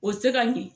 O tɛ se ka ɲɛ